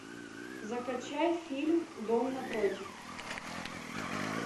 закачай фильм дом напротив